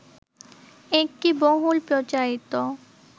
একটি বহুল প্রচারিত